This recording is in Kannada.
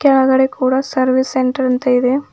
ಕೆಳಗಡೆ ಕೂಡ ಸರ್ವಿಸ್ ಸೆಂಟರ್ ಅಂತ ಇದೆ.